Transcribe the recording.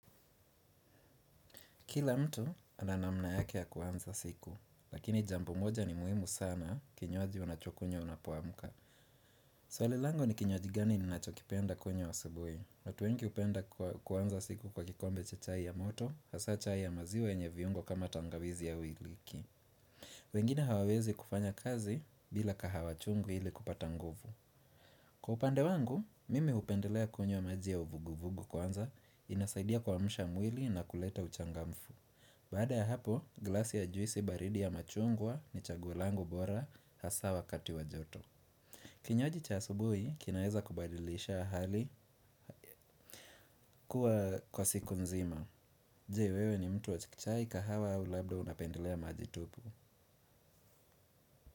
Kila mtu ana namna yake ya kuanza siku, lakini jambo moja ni muhimu sana kinywaji unachokunywa unapoamka. Swali langu ni kinywaji gani ninachokipenda kunywa asubuhi. Watu wengi upenda kuanza siku kwa kikombe cha chai ya moto, hasa chai ya maziwa yenye viungo kama tangawizi au iliki. Wengine hawawezi kufanya kazi bila kahawa chungu ili kupata nguvu. Kwa upande wangu, mimi upendelea kunywa maji ya uvuguvugu kwanza inasaidia kuamsha mwili na kuleta uchangamfu. Baada ya hapo, glasi ya juisi baridi ya machungwa ni chaguo langu bora hasaa wakati wa joto. Kinywaji cha asubui, kinaeza kubadilisha hali kuwa kwa siku nzima. Je wewe ni mtu wa chai kahawa au labda unapendelea maji tupu.